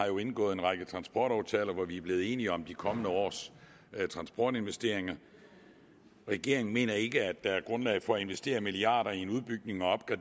jo har indgået en række transportaftaler hvor vi er blevet enige om de kommende års transportinvesteringer regeringen mener ikke at der er grundlag for at investere milliarder i en udbygning og